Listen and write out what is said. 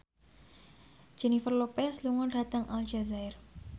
Jennifer Lopez lunga dhateng Aljazair